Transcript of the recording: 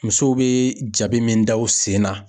Musow be jabi min da u sen na.